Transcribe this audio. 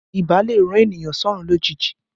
Ibà lè rán ènìyàn sọ́rún lójijì